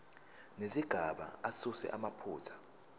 nezigaba asuse amaphutha